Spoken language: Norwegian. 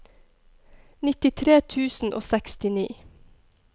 nittitre tusen og sekstini